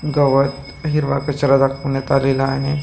गवत हिरवा कचरा दाखवण्यात आलेला आहे.